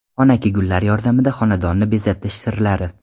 Xonaki gullar yordamida xonadonni bezatish sirlari.